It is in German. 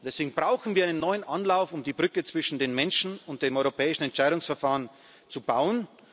Deswegen brauchen wir einen neuen Anlauf, um die Brücke zwischen den Menschen und dem europäischen Entscheidungsverfahren zu bauen.